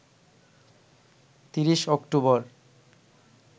৩০ October